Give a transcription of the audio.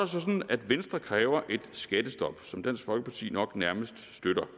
sådan at venstre kræver et skattestop som dansk folkeparti nok nærmest støtter